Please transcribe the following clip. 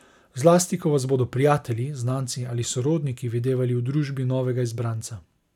Zlasti ko vas bodo prijatelji, znanci ali sorodniki videvali v družbi novega izbranca.